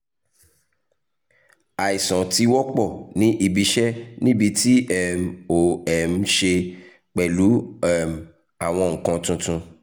aisan ti wọpọ ni ibi iṣẹ nibiti um o um ṣe pẹlu um awọn nkan tuntun